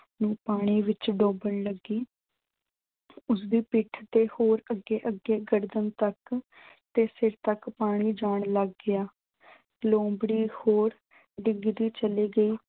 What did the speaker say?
ਪਾਣੀ ਵਿੱਚ ਡੋਬਣ ਲੱਗੀ ਉਸਦੀ ਪਿੱਠ ਤੇ ਹੋਰ ਅੱਗੇ-ਅੱਗੇ ਗਰਦਨ ਤੱਕ ਤੇ ਸਿਰ ਤੱਕ ਪਾਣੀ ਜਾਣ ਲੱਗ ਗਿਆ। ਲੂੰਬੜੀ ਹੋਰ ਡੁੱਬਦੀ ਚਲੀ ਗਈ।